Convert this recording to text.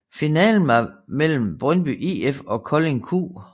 Finalen var mellem Brøndby IF og Kolding Q